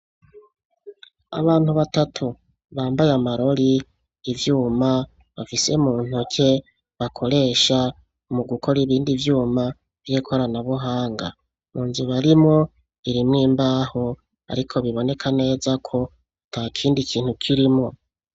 Abana batatu bambaye amarori, ivyuma bafise muntoke bakoresha mu gukora ibindi vyuma vy'ikoranabuhanga, munzu barimwo irimwo imbaho ariko biboneka neza ko atakindi kintu kirimwo.